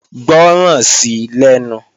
Gbọ́ràn sí lẹ́nu!